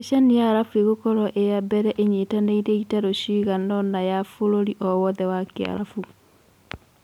Miceni ya Aarabu ĩgũkorwo ĩ-ya-mbere ĩnyitanĩire itaro ciganaona ya bũrũri o-wothe wa Kĩarabu.